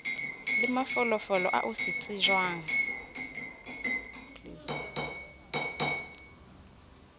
le mafolofolo ao se tsejwang